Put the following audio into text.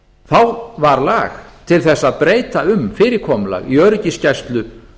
þá var lag til þess að breyta um fyrirkomulag í öryggisgæslu